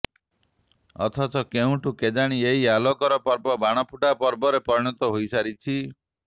ଅଥଚ କେବେଠୁ କେଜାଣି ଏହି ଆଲୋକର ପର୍ବ ବାଣଫୁଟା ପର୍ବରେ ପରିଣତ ହୋଇସାରିଛି